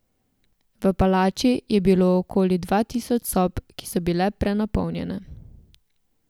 V palači je bilo okoli dva tisoč sob, ki so bile prenapolnjene.